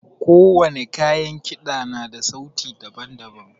Ko wani kayan kida na da sauti daban-daban.